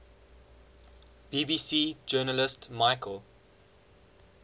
bbc journalist michael